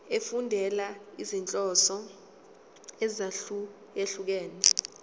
efundela izinhloso ezahlukehlukene